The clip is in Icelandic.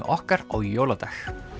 okkar á jóladag